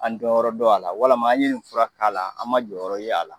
An dɔn yɔrɔ dɔn a la walama an ye nin fura k'a la an ma jɔyɔrɔ ye a la